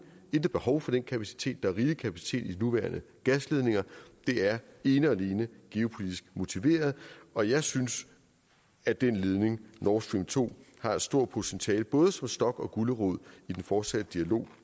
intet behov for den kapacitet der er rigelig kapacitet i de nuværende gasledninger det er ene og alene geopolitisk motiveret og jeg synes at den ledning nord stream to har et stort potentiale både som stok og som gulerod i den fortsatte dialog